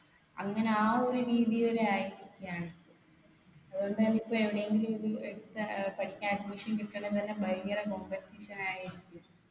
അങ്ങനെ ആ ഒരു രീതി വരെ ആയിരിക്കയാണ് അതുകൊണ്ട് തന്നെ ഇപ്പൊ എവിടെങ്കിലൊരു ഏർ പഠിക്കാൻ admission കിട്ടണെ തന്നെ ഭയങ്കര competition ആയിരിക്കു